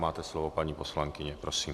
Máte slovo, paní poslankyně, prosím.